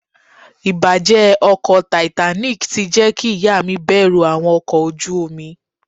Ìbàjẹ́ ọkọ̀ Titanic ti jẹ́ kí ìyá mi bẹ̀rù àwọn ọkọ̀ ojú omi.